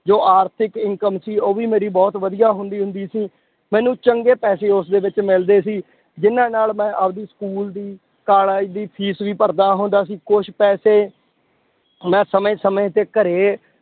ਜੋ ਆਰਥਿਕ income ਸੀ ਉਹ ਵੀ ਮੇਰੀ ਬਹੁਤ ਵਧੀਆ ਹੁੰਦੀ ਹੁੰਦੀ ਸੀ, ਮੈਨੂੰ ਚੰਗੇ ਪੈਸੇ ਉਸਦੇ ਵਿੱਚ ਮਿਲਦੇ ਸੀ, ਜਿੰਨਾਂ ਨਾਲ ਮੈਂ ਆਪਦੀ school ਦੀ college ਦੀ fees ਵੀ ਭਰਦਾ ਹੁੰਦਾ ਸੀ, ਕੁਛ ਪੈਸੇ ਮੈਂ ਸਮੇਂ ਸਮੇਂ ਤੇ ਘਰੇ